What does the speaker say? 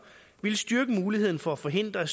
ville styrke muligheden for at forhindre